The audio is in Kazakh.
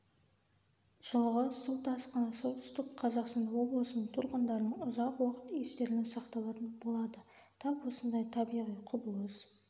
жылғы су тасқыны солтүстік қазақстан облысының тұрғындарының ұзақ уақыт естеріне сақталатын болады тап осындай табиғи құбылыс